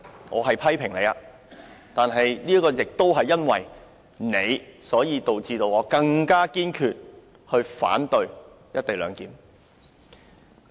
我是在批評你，但亦因為你，導致我更堅決反對"一地兩檢"。